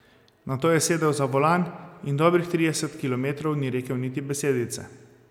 Nato je sedel za volan in dobrih trideset kilometrov ni rekel niti besedice.